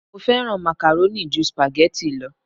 Mo fẹ́ràn macaroni ju spaghetti lo